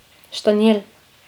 Štanjel.